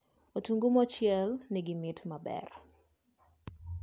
Otungu mochiel nigi mit maber